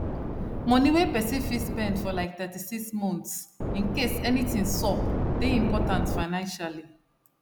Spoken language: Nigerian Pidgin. money wey person fit spend for like 36 months incase anything sup dey important financially